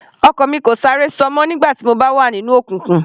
Ọ̀kan mi kò sáré ṣọ mọ́ nígbà tí mo bá wà nínú òkùnkùn.